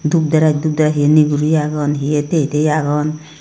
dup dres dup dres he ay niguri aagon he ay tay tay aagon.